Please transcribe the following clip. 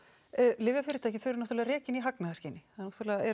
lyfjafyrirtæki eru náttúrulega rekin í hagnaðarskyni það náttúrulega er